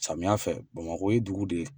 Samiya fɛ bamakɔ ye dugu de ye